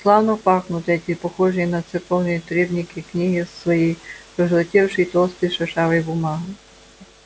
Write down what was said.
славно пахнут эти похожие на церковные требники книги своей пожелтевшей толстой шершавой бумагой